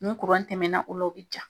Ni tɛmɛna o la, o be ja.